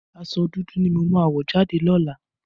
Aṣọ dudu ni mo máa wọ̀ jáde lọ́làá.